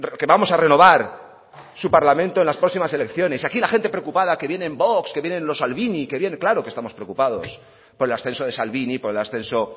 que vamos a renovar su parlamento en las próximas elecciones aquí la gente preocupada que vienen vox que vienen los salvini claro que estamos preocupados por el ascenso de salvini por el ascenso